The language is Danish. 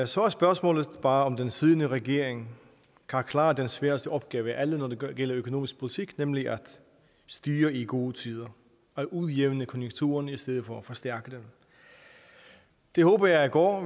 så er spørgsmålet bare om den siddende regering kan klare det sværeste opgave af alle når det gælder økonomisk politik nemlig at styre i gode tider at udjævne konjunkturerne i stedet for at forstærke dem det håber jeg går